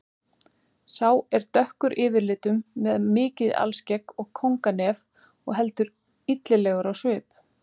Sá er dökkur yfirlitum með mikið alskegg og kónganef og heldur illilegur á svip.